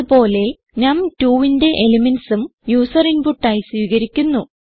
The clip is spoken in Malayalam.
ഇത് പോലെ നം 2ന്റെ എലിമെന്റ്സ് ഉം യൂസർ ഇൻപുട്ട് ആയി സ്വീകരിയ്ക്കുന്നു